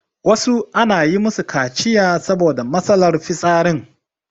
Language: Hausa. wasu ana yi musu kaciya saboda matsalar fitsarin